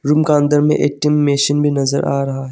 Room का अंदर में ए_टी_एम मशीन भी नजर आ रहा है।